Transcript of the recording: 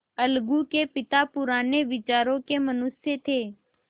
अलगू के पिता पुराने विचारों के मनुष्य थे